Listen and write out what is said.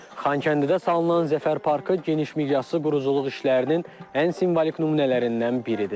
Xankəndidə salınan Zəfər parkı geniş miqyaslı quruculuq işlərinin ən simvolik nümunələrindən biridir.